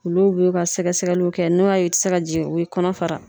Olu b'u ka sɛgɛsɛgɛliw kɛ n'o y'a ye u te se ka jigin u bi kɔnɔ fara.